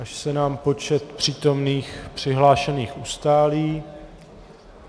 Až se nám počet přítomných přihlášených ustálí...